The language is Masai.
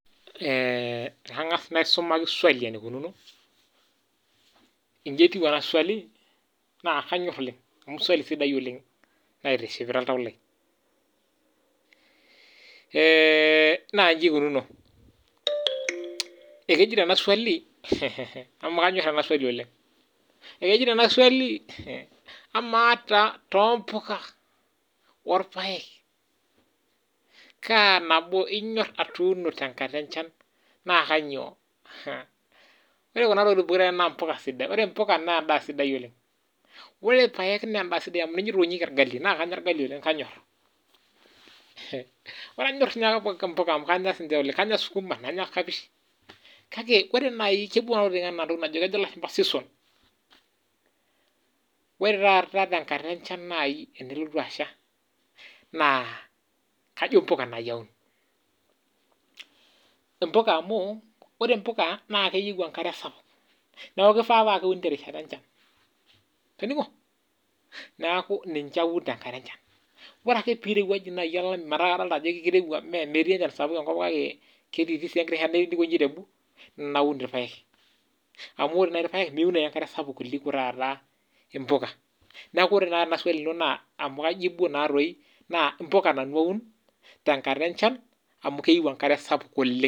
Angas naisumaki esuali neikununo, enji etiu ena suali naa kanyorr oleng amu suali sidai oleng naitishipa oltau lai naa enji eikununo, ekejetonena suali amu anyor ena suali oleng, ekejeto ena suali amaa taa too mbuka o irpaek kaa nabo inyor atuuno te enkata enchan naa kanyioo. Ore kuna tokitin pukura naa tokitin sidain, ore embukq naa entoki sidai oleng, ore irpaek naa imbaa sidai amu keitainyeki olgali naa kanyorr olgali oleng kanyorr, ore anyor siake embuka amu enyorr si oleng, anyor suguma, anyor kabish akke ore nai kepuo kuna tokitin anaa esuom, ore taata tenkata enchan nai enelotu acha naa kajo imbuka nai aun imbuka amuu ore imbuka naa keyeu enkare sapuk naaku keifaa paaku keuni te rishata enye timing's, naaku ninche aun te inkata enchan. Ore ake peirewuaju nai metaa kadolit ajo kereuwa naa te sapuk kake ketii sii egira naun irpaek amu ore nai irpaek, miun enkare sapuk kuliko taata imbuka, naaku ore taata ena suali ino naa amu kaijipu naa doi naa imbuka nanu aun tenkata enchan amu keyeu enkare sapuk oleng.